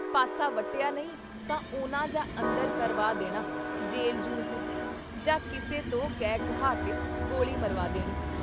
ਪਾਸਾ ਵੱਟਿਆ ਨਹੀਂ ਤਾਂ ਉਨ੍ਹਾਂ ਜਾਂ ਅੰਦਰ ਕਰਵਾ ਦੇਣਾ ਜੇਲ੍ਹ-ਜੂਲ੍ਹ 'ਚ ਜਾਂ ਕਿਸੇ ਤੋਂ ਕਹਿ ਕੁਹਾ ਕੇ ਗੋਲੀ ਮਰਵਾ ਦੇਣੀ।